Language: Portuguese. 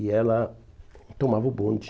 E ela tomava o bonde.